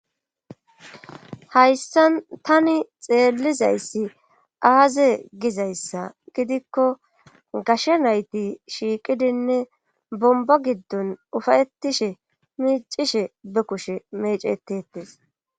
hayssan tani xeellizayssi aaze gizayssa gidikko gashe nayti shiiqidinne bomba giddon ufayetishe miicishe be kushe mecetetes